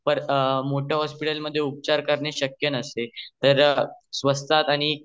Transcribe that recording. मोठ्या हॉस्पिटल मध्ये कैंसर वर उपचार करणे शक्य नसते तर स्वसतात आणि